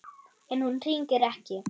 En hún hringir ekki.